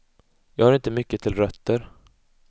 Jag har inte mycket till rötter.